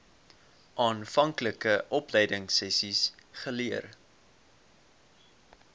aanvanklike opleidingsessies geleer